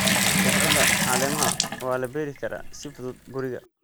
Khudradda caleemaha waa la beeri karaa si fudud guriga.